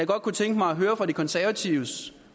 godt kunne tænke mig at høre om de konservatives